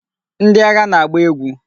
Ndị agha na-agba egwu.